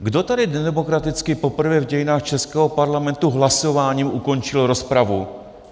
Kdo tady nedemokraticky poprvé v dějinách českého parlamentu hlasováním ukončil rozpravu?